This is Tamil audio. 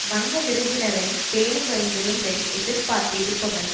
வந்த விருந்தினரை பேணி வரும் விருந்தை எதிர்பார்த்து இருப்பவன்